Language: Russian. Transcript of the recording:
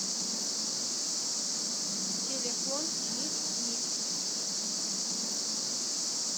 телефон митмит